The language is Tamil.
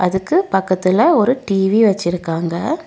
அதுக்கு பக்கத்துல ஒரு டி_வி வச்சிருக்காங்க.